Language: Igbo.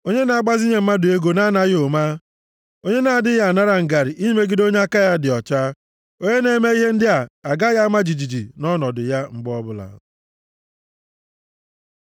onye na-agbazinye mmadụ ego na-anaghị ụma, onye na-adịghị a nara ngarị imegide onye aka ya dị ọcha. Onye na-eme ihe ndị a agaghị ama jijiji nʼọnọdụ ya, mgbe ọbụla.